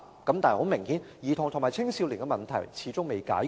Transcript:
但是，很明顯，兒童及青少年的問題始終未解決。